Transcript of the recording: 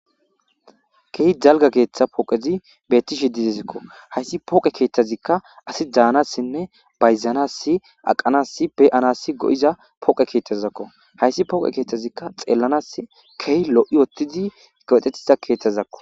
Keehi jalga keeththa pooqezi betti shi didizikko hayssi pooqe keeththazikka asi daanassinne bayzanasi aqanasi beanasi go7iza pooqe keeththazzakko hayssi pooqe keeththazikka xeellanas kehi lo7i wottidi kowexetiza keeththazzakko.